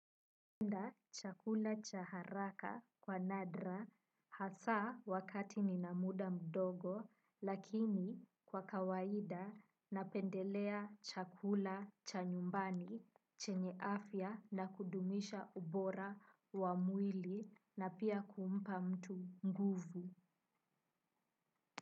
Napenda chakula cha haraka kwa nadra hasa wakati nina muda mdogo lakini kwa kawaida napendelea chakula cha nyumbani chenye afya na kudumisha ubora wa mwili na pia huumpa mtu nguvu.